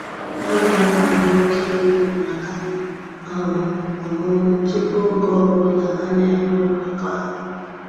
A na-anwale oke ehi maka um ọmụmụ tupu oge ọ bụla ana-enwe mmekọahụ.